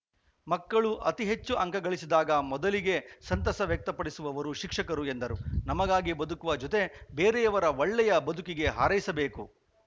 ಮಕ್ಕಳು ಅತಿ ಹೆಚ್ಚು ಅಂಕ ಗಳಿಸಿದಾಗ ಮೊದಲಿಗೆ ಸಂತಸ ವ್ಯಕ್ತಪಡಿಸುವವರು ಶಿಕ್ಷಕರು ಎಂದರು ನಮಗಾಗಿ ಬದುಕುವ ಜೊತೆ ಬೇರೆಯವರ ಒಳ್ಳೆಯ ಬದುಕಿಗೆ ಹಾರೈಸಬೇಕು